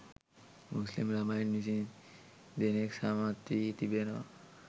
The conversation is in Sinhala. මුස්‌ලිම් ළමයි විසි දෙනෙක්‌ සමත්වී තිබෙනවා